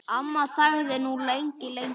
Amma þagði nú lengi, lengi.